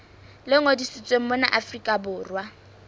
le ngodisitsweng mona afrika borwa